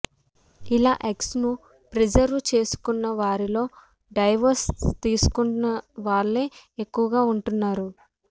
ఇలా ఎగ్స్ ను ప్రిజర్వ్ చేసుకుంటున్న వారిలో డైవోర్స్ తీసుకున్న వాళ్లే ఎక్కువగా ఉంటున్నారు